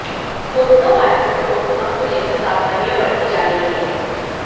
corona virus को रोकथाम को लेकर सावधानियां बरती जा रही है